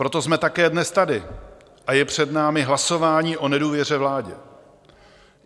Proto jsme také dnes tady a je před námi hlasování o nedůvěře vládě.